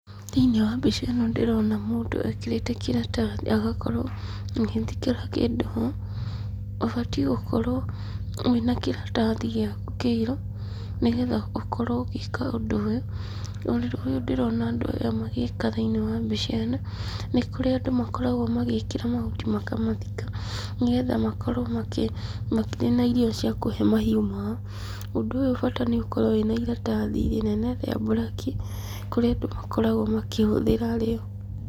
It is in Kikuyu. Thĩinĩ wa mbica ĩno ndĩrona mũndũ ekĩrĩte kĩratathi agakorwo agĩĩkĩra kĩndũ ho, ũbatiĩ gũkorwo mwĩna kĩratathi gĩaku kĩirũ, nĩgetha ũkorwo ũgĩĩka ũndũ ũyũ, ũndũ ũyũ ndĩrona andũ aya magĩka thĩinĩ wa mbica ĩno, nĩ kũrĩa andũ makoragwo magĩĩkĩra mahuti makamathika, nĩgetha makorwo makĩ makĩrĩ na irio cia kũhee mahiũ mao, ũndũ ũyũ ũbata nĩ ũkorwo wĩna iratathi inene rĩa mburaki, kũrĩa andũ makoragwo makĩhũthĩra rĩo.